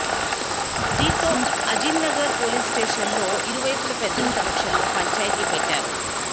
దీంతో అజిమ్నగర్ పోలీస్ స్టేషన్లో ఇరు వైపుల పెద్దల సమక్షంలో పంచాయతీ పెట్టారు